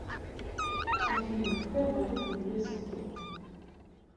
афина какая валюта в лесото